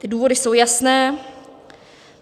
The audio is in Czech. Ty důvody jsou jasné.